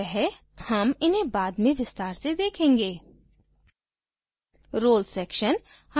यह सिर्फ एक परिचय है हम इन्हें बाद में विस्तार से देखेंगे